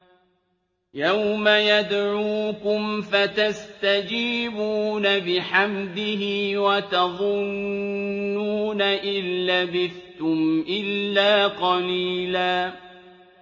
يَوْمَ يَدْعُوكُمْ فَتَسْتَجِيبُونَ بِحَمْدِهِ وَتَظُنُّونَ إِن لَّبِثْتُمْ إِلَّا قَلِيلًا